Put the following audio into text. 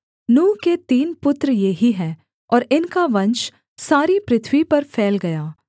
नूह के तीन पुत्र ये ही हैं और इनका वंश सारी पृथ्वी पर फैल गया